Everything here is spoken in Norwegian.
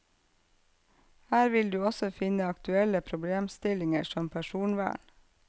Her vil du også finne aktuelle problemstillinger som personvern.